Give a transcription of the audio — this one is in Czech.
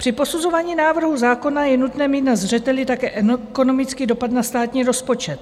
Při posuzování návrhu zákona je nutné mít na zřeteli také ekonomický dopad na státní rozpočet.